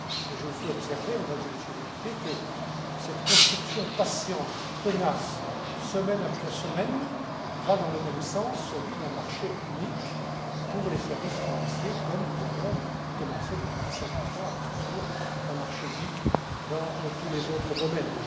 Je vous fais observer, Mesdames et Messieurs les députés, que cette construction patiente, tenace, semaine après semaine, va dans le même sens, celui d'un marché unique pour les services financiers, comme nous avons commencé depuis cinquante ans à construire un marché unique dans tous les autres domaines.